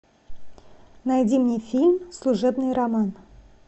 найди мне фильм служебный роман